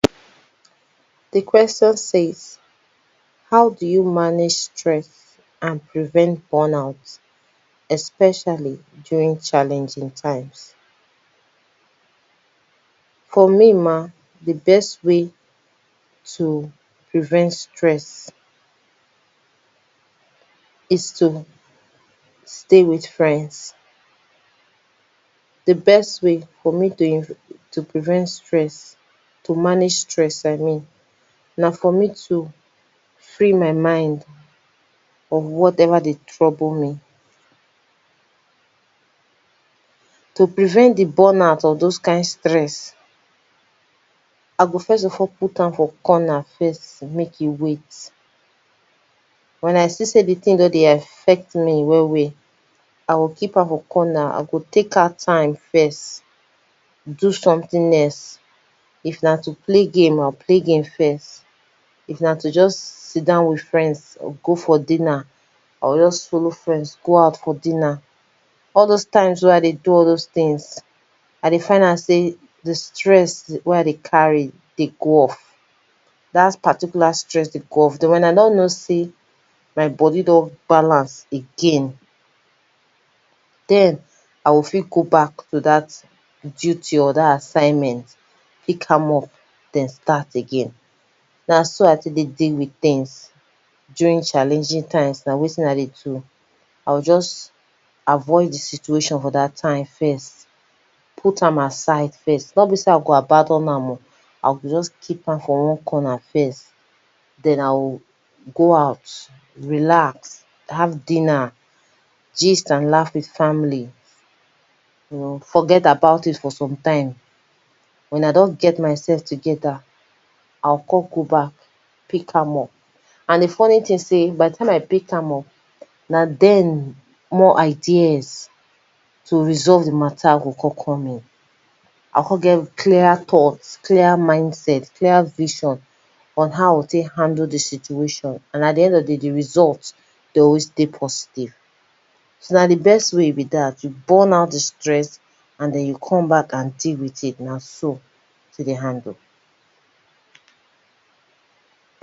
Di question says how do you manage stress and prevent burn out especially during challenging times? For me ma, di best way to prevent stress is t o stay with friends, di best way for me prevent stress, to manage stress I mean, na for me to free my mind from whatever dey trouble me, to prevent di burn out of doz kind stress I go first of all put am for corner first, make e wait, wen I see sey di thing don dey affect me well well, I go keep am for corner I go take out time first do something else, if na to play games, I go play games first, if na to just sit down or go for dinner, I go just follow friend go out for dinner, all doz times wey I dey do all doz things, I dey find out sey di stress wey I dey carry dey go off. Dat particular stress dey go off, den wen I don notice sey my body don balance again, den I go fit go back to dat duty, dat assignment, pick am up den start again. Na si I take dey deal with things during challenging time na wetin I dey do. I go just avoid di situation for dat time first, put am aside first, nor be sey I go abandon am oh, I go just keep am for one corner first. Den I go go out, relax, have dinner, gist and laugh with family, you know forget about it for some time, wen I don get myself together, I go come go back, pick am up, and di funny thing be sey, once I pick am up, na there di ideas to resolve di matter go come come in. I go come get clearer thought, clearer mindset, clearer vision on how I go take handle do situation. And at di end of di day di result, dem go dey positive. So na di best way be dat, you burn out di stress and den you come back and deal with it, na so, dem take dey handle.